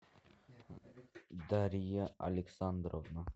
дарья александровна